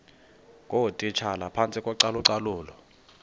ngootitshala phantsi kocalucalulo